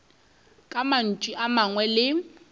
ka mantšu a mangwe le